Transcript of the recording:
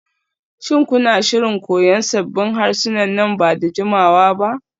Shin kuna shirin koyan sabbin harsuna nan ba da jimawa ba?